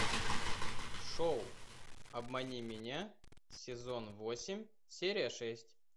шоу обмани меня сезон восемь серия шесть